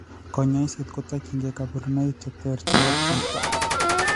Kanyoiset kotokying'ee kaborunoik cheter chebo chito